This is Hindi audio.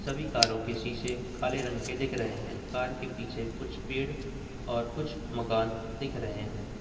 सभी कारो के शीशे काले रंग के दिख रहे हैं कार के पीछे कुछ पेड़ और कुछ मकान दिख रहे हैं।